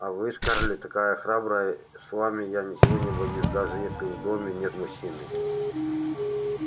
а вы скарлетт такая храбрая с вами я ничего не боюсь даже если в доме нет мужчины